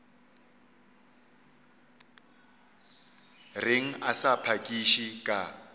reng a sa phakiše ka